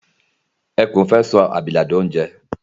Ẹkún fẹ́ sọ abilà di oúnjẹ